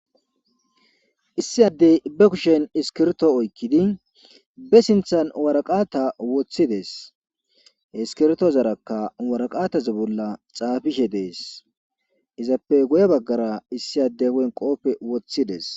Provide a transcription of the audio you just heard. issi addey be kushen iskirto oykkidi be sinthan waraqata woththides he iskirtozarakka waraqataz bolla xaafishe dees izappe goye baggara issi adde on qooppe woththides.